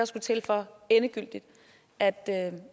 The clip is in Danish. skulle til for endegyldigt at